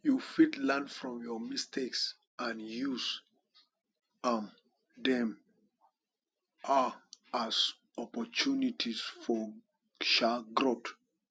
you fit learn from your mistakes and use um dem um as opportunities for um growth